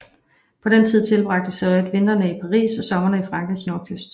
På den tid tilbragte Seurat vintrene i Paris og somrene på Frankrigs nordkyst